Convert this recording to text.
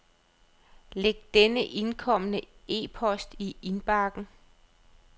Læg den indkomne e-post i indbakken.